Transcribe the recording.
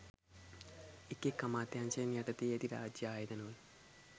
එක් එක් අමාත්‍යංශයන් යටතේ ඇති රාජ්‍ය ආයතන වල